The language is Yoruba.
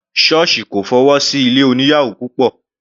Sọ́ọ̀sì kò fọwọ́ sí ilé oníyàwò púpọ̀.